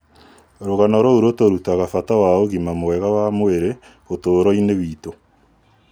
Rũgano rũu rũtũrutaga bata wa ũgima mwega wa mwĩrĩ ũtũũro-inĩ witũ.